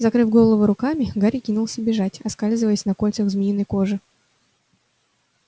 закрыв голову руками гарри кинулся бежать оскальзываясь на кольцах змеиной кожи